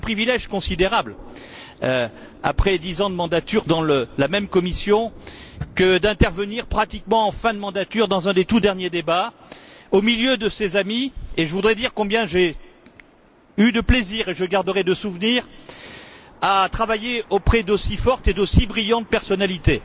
C'est un privilège considérable, après dix ans de mandat, dans la même commission, que d'intervenir pratiquement en fin de législature dans un des tout derniers débats, au milieu de ses amis, et je voudrais dire combien j'ai eu de plaisir et j'en garderai des souvenirs à travailler auprès d'aussi fortes et d'aussi brillantes personnalités.